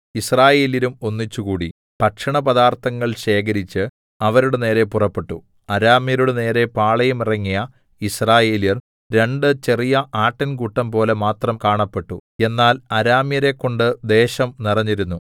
യിസ്രായേല്യരും ഒന്നിച്ചുകൂടി ഭക്ഷണപദാർത്ഥങ്ങൾ ശേഖരിച്ച് അവരുടെ നേരെ പുറപ്പെട്ടു അരാമ്യരുടെ നേരെ പാളയം ഇറങ്ങിയ യിസ്രായേല്യർ രണ്ട് ചെറിയ ആട്ടിൻകൂട്ടംപോലെ മാത്രം കാണപ്പെട്ടു എന്നാൽ അരാമ്യരെക്കൊണ്ട് ദേശം നിറഞ്ഞിരുന്നു